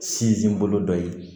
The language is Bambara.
Sinzin bolo dɔ ye